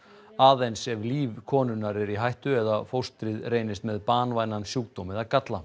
aðeins ef líf konunnar er í hættu eða fóstrið reynist með banvænan sjúkdóm eða galla